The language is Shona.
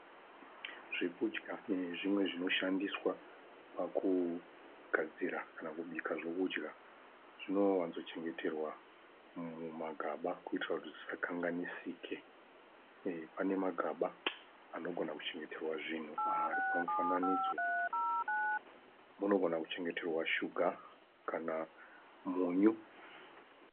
Zvekudya nezvimwe zvinoshandiswa pakugadzira kana kubika zvekudya zvinowanzochengeterwa mumagaba kuti zvisakanganisike. Pane magaba ari pamufananidzo anogona kuchengeterwa zvinhu zvakaita seshuga kana munyu.